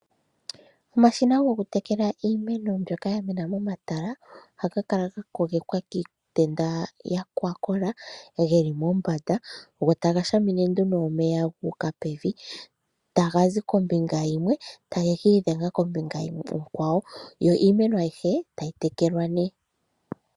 Omashina gokutekela iimeno mbyoka ya mena momatala ohaga kala ga kogekwa kiitenda yokwakola yi li mombanda, go taga shamine nduno omeya gu uka pevi, taga zi kombinga yimwe, eta ge ki idhenga kombinga onkwawo; yo iimeno ayihe tayi tekelwa nee.